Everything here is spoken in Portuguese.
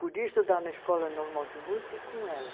Podia estudar na Escola Normal de Música e com ela.